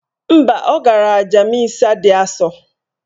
Mba, ọ gara aja misa dị asọ.